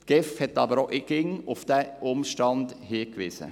Die GEF hat auch immer auf diesen Umstand hingewiesen.